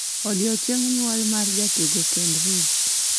Odiechieng' nyuol ma jatugo keanu reeves